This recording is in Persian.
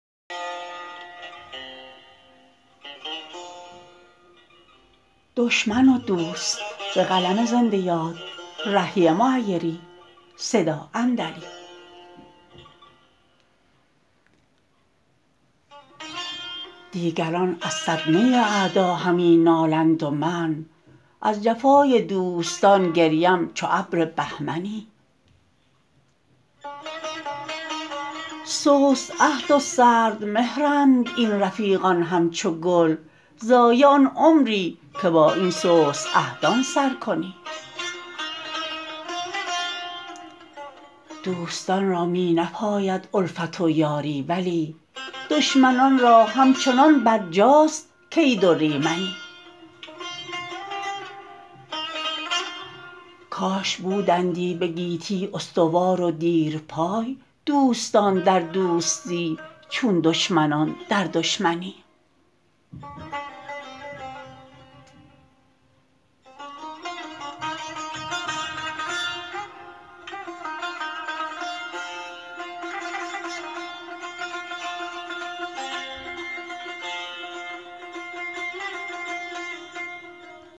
دیگران از صدمه اعدا همی نالند و من از جفای دوستان گریم چو ابر بهمنی سست عهد و سردمهرند این رفیقان همچو گل ضایع آن عمری که با این سست عهدان سر کنی دوستان را می نپاید الفت و یاری ولی دشمنان را همچنان برجاست کید و ریمنی کاش بودندی به گیتی استوار و دیرپای دوستان در دوستی چون دشمنان در دشمنی